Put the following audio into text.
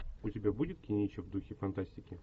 у тебя будет кинище в духе фантастики